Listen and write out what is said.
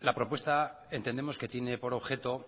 la propuesta entendemos que tiene por objeto